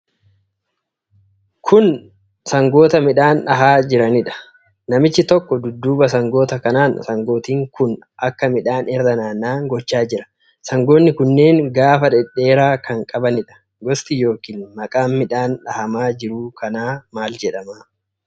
Kun sangoota midhaan dhahaa jiranidha. Namichi tokko dudduuba sangoota kanaan sangooti kun akka midhaan irra naanna'an gochaa jira. Sangoonni kunneen gaafa dhedheeraa kan qabaniidha. Gosti yookiin maqaan midhaan dhahamaa jiruu kanaa maal jedhama?